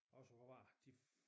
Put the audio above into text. Også hvad var det de